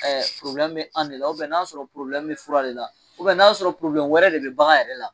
an de la n'a sɔrɔ fura de la, n'a y'a sɔrɔ wɛrɛ de bi bagan yɛrɛ la